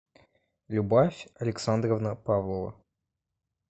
любовь александровна павлова